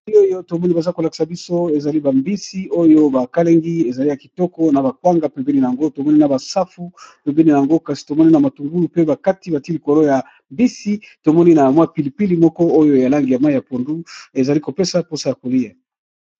Elili oyo ezali na sani ya pembe, batiye na kati mbisi yako tumba, safu na kwanga. Elengi na koliya.